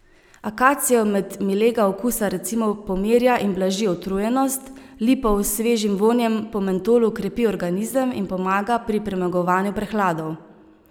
Akacijev med milega okusa recimo pomirja in blaži utrujenost, lipov s svežim vonjem po mentolu krepi organizem in pomaga pri premagovanju prehladov.